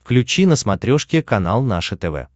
включи на смотрешке канал наше тв